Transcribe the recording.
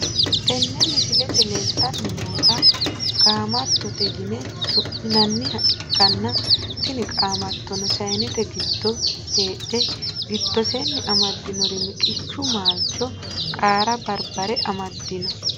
Tene misilete leeltani noota kaamatote yine su`minaniha ikanna tini qaamatono sayinete giddo heedhe gidoseeni amadinori miqichu maalcho qaare barbare amadino.